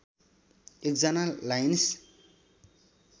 १ जना लाइन्स